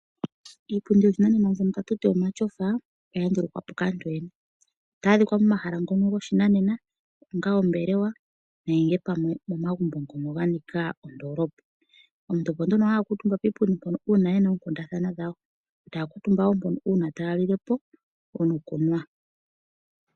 Iipundi yoshinanena mbyono tatuti omatyofa oya ndulukwapo kaantu yoyene otayi adhika momahala ngono goshinanena onga oombelewa nenge pamwe omo magumbo ngono ga nika ondolopa. Omuntu opo nduno haya kuntumba piipundi mpono uuna yena oonkundathana dhawo taya kuntumba wo mpono uuna taya lilepo nokunwa.